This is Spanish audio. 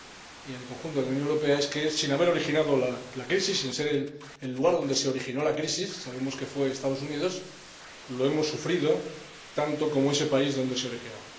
y en el conjunto de la Unión Europea es que, sin haber originado la crisis, sin ser el lugar donde se originó la crisis —sabemos que fue en los Estados Unidos—, la hemos sufrido tanto como ese país donde se originó.